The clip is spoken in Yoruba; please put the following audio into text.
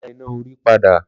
Lọ dá iná orí padà